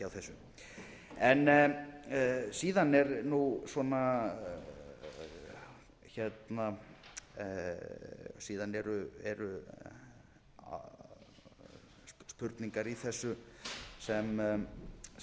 frekar en að vera í einhverju svona hálfkáki ég átta mig ekki á þessu síðan eru spurningar í þessu sem